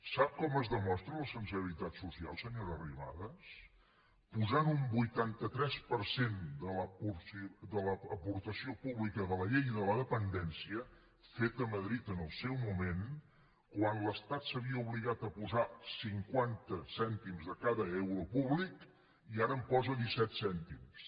sap com es demostra la sensibilitat social senyora arrimadas posant un vuitanta tres per cent de l’aportació pública de la llei de la dependència feta a madrid en el seu moment quan l’estat s’havia obligat a posar cinquanta cèntims de cada euro públic i ara hi posa disset cèntims